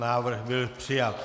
Návrh byl přijat.